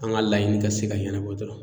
An ka laɲini ka se ka ɲɛnabɔ dɔrɔn.